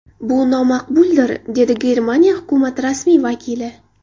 Bu nomaqbuldir”, dedi Germaniya hukumati rasmiy vakili.